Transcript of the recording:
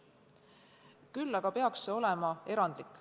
Küll aga peaks see olema erandlik.